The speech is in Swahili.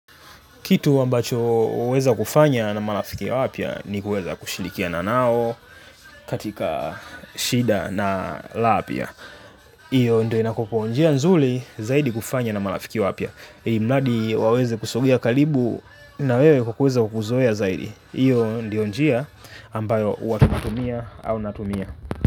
Kitu ambacho huweza kufanya na marafiki wapya ni kuweza kushirikiana nao katika shida na raha pia. Iyo ndio inakueko njia nzuri zaidi kufanya na marafiki wapya ilimradi waweze kusogea karibu na wewe kwa kueza kukuzoea zaidi. Iyo ndio njia ambayo huwa tunatumia au natumia.